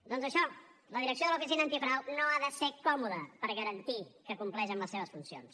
doncs això la direcció de l’oficina antifrau no ha de ser còmoda per garantir que compleix amb les seves funcions